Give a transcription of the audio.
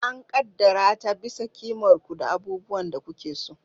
An ƙaddara ta bisa ƙimar ku da abubuwan da kuke so.